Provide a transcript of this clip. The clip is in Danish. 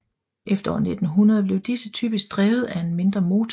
Efter år 1900 blev disse typisk drevet af en mindre motor